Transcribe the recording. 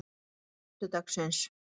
föstudagsins